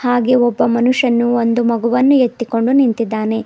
ಹಾಗೆ ಒಬ್ಬ ಮನುಷ್ಯನು ಒಂದು ಮಗುವನ್ನು ಎತ್ತಿಕೊಂಡು ನಿಂತಿದ್ದಾನೆ.